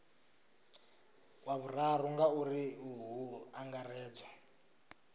wa vhuraru ngauri hu angaredzwa